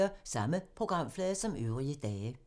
Samme programflade som øvrige dage